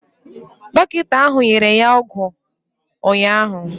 Dọkịta ahụ nyere ya ọgwụ ụnyaahụ.